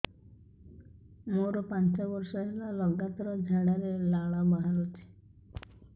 ମୋରୋ ପାଞ୍ଚ ବର୍ଷ ହେଲା ଲଗାତାର ଝାଡ଼ାରେ ଲାଳ ବାହାରୁଚି